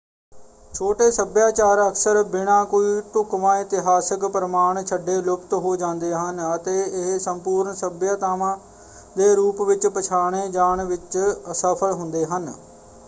ਛੋਟੇ ਸੱਭਿਆਚਾਰ ਅਕਸਰ ਬਿਨਾਂ ਕੋਈ ਢੁੱਕਵਾਂ ਇਤਿਹਾਸਕ ਪ੍ਰਮਾਣ ਛੱਡੇ ਲੁਪਤ ਹੋ ਜਾਂਦੇ ਹਨ ਅਤੇ ਇਹ ਸੰਪੂਰਨ ਸੱਭਿਆਤਾਵਾਂ ਦੇ ਰੂਪ ਵਿੱਚ ਪਛਾਣੇ ਜਾਣ ਵਿੱਚ ਅਸਫਲ ਹੁੰਦੇ ਹਨ।